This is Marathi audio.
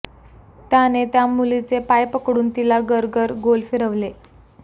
त्याने त्या मुलीचे पाय पकडून तिला गरगर गोल फिरवले